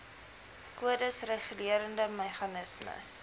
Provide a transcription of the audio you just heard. kodes regulerende meganismes